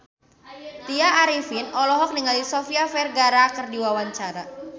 Tya Arifin olohok ningali Sofia Vergara keur diwawancara